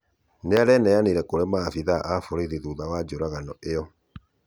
Nĩareneyanĩre kũrĩ maabĩthaa a borĩthĩ thũtha wa njũragano ĩyo